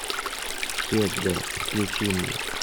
хед включи мне